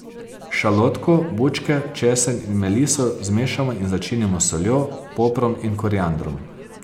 Šalotko, bučke, česen in meliso zmešamo in začinimo s soljo, poprom in koriandrom.